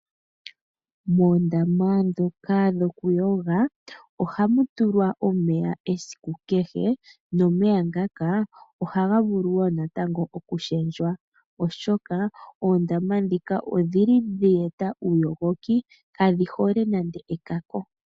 Moondama ndhoka dhokuyoga ohamu tulwa omeya esiku kehe nomeya ngaka ohaga vuluwo natango oku shendjwa ,oshoka oondama ndhika odhili dheeta uuyogoki kadhi hole nande ekako.